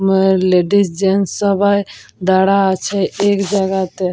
অ্যা ladies gents সবাই দাঁড়া আছে এক জাগাতে--